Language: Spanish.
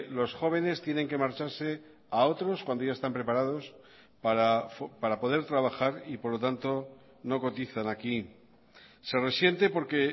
los jóvenes tienen que marcharse a otros cuando ya están preparados para poder trabajar y por lo tanto no cotizan aquí se resiente porque